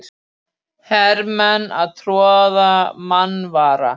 Hermenn að troða marvaða.